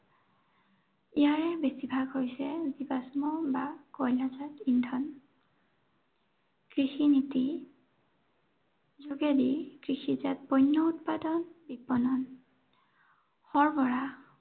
ইয়াৰ বেছি ভাগ হৈছে জীৱাশ্ম বা কয়লাজাত ইন্ধন। কৃষিনীতি যোগেদি কৃষিজাত পন্য় উৎপাদন, বিপনন, সৰবৰাহ